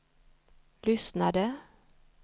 lyssnade